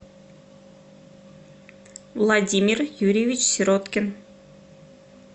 владимир юрьевич сироткин